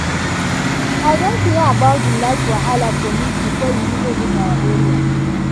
i don hear about di light wahala for news before e even reach our area.